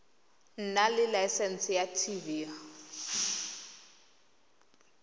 nna le laesense ya tv